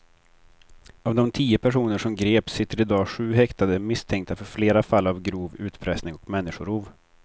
Av de tio personer som greps sitter i dag sju häktade misstänkta för flera fall av grov utpressning och människorov.